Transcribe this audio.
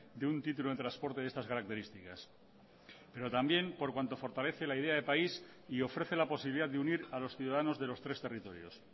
de un título de transporte de estas características pero también por cuanto fortalece la idea de país y ofrece la posibilidad de unir a los ciudadanos de los tres territorios